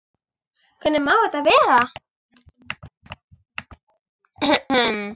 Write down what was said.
Hvernig má þetta vera?